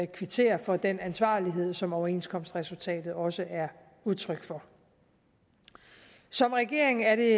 kvittere for den ansvarlighed som overenskomstresultatet også er udtryk for som regering er det